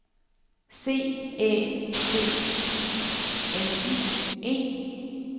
C Æ C I L I E